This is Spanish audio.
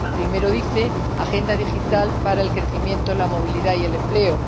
Primero dice Agenda digital para el crecimiento, la movilidad y el empleo.